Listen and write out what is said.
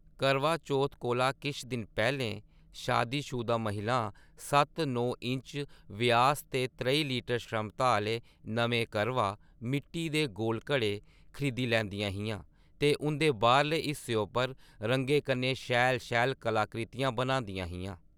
करवा चौथ कोला किश दिन पैह्‌लें शादीशुदा महिलां सत्त-नौ इंच व्यास ते त्रेई लीटर क्षमता आह्‌ले नमें करवा मिट्टी दे गोल घड़े खरीदी लैंदियां हियां ते उं'दे बाह्‌रले हिस्से उप्पर रंगें कन्नै शैल-शैल कलाकृतियां बनांदियां हियां।